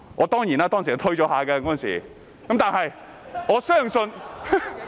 當然，我當時推卻了一會，但是，我相信......